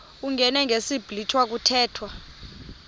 uyingene ngesiblwitha kuthethwa